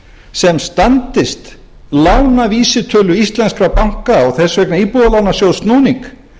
sem standist lánavísitölu íslenskra banka og þess vegna íbúðalánasjóðs snúning